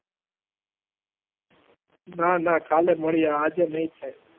ના ના કાલે મળીએ આજે નહીં થાય.